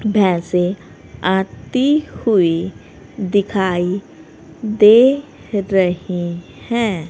भैंसे आती हुई दिखाई दे रही हैं।